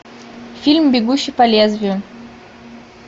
фильм бегущий по лезвию